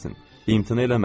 İmtina eləməsin.